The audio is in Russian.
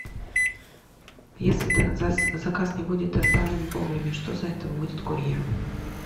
если заказ не будет доставлен вовремя что за это будет курьеру